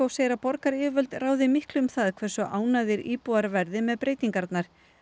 segir að borgaryfirvöld ráði miklu um það hversu ánægðir íbúarnir verða með breytingarnar